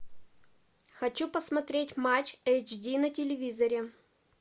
хочу посмотреть матч эйч ди на телевизоре